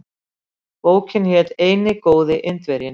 Bókin hét Eini góði Indverjinn.